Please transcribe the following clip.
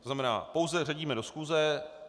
To znamená, pouze zařadíme do schůze.